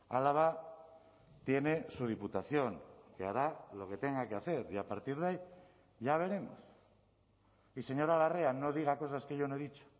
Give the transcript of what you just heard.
álava tiene su diputación que hará lo que tenga que hacer y a partir de ahí ya veremos y señora larrea no diga cosas que yo no he dicho